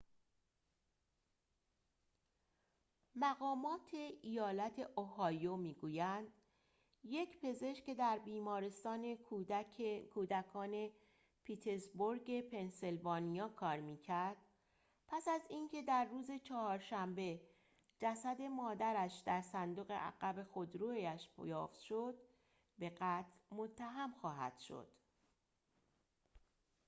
مقامات ایالت اوهایو می گویند یک پزشک که در بیمارستان کودکان پیتزبورگ پنسیلوانیا کار می کرد پس از اینکه در روز چهارشنبه جسد مادرش در صندوق عقب خودرویش یافت شد به قتل متهم خواهد شد